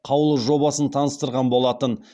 қаулы жобасын таныстырған болатын